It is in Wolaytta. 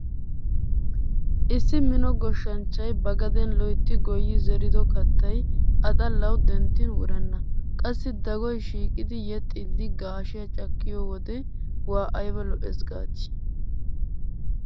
Issi mino goshshanchchay ba gadeen loytti goyyi zerido kattay a xallawu denttin wurenna. Qassi dagoy shiiqidi yeexxiiddi gaashiya cakkiyode waa lo'o lo'ees gaadii?